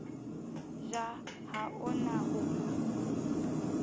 ja ha o na ho